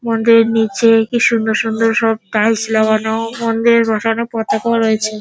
মন্দিরের নিচে কি সুন্দর সুন্দর সব টাইলস লাগানো মন্দিরে বসানো পতাকাও রয়েছে।